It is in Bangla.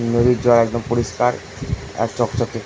নদীর জল একদম পরিষ্কার আর চকচকে।